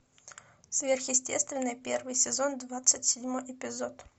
сверхъестественное первый сезон двадцать седьмой эпизод